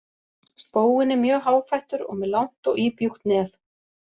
Spóinn er mjög háfættur og með langt og íbjúgt nef.